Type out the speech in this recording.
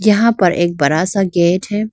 यहां पर एक बड़ा सा गेट है।